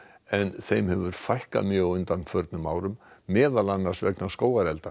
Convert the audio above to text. en þeim hefur fækkað mjög á undanförnum árum meðal annars vegna skógarelda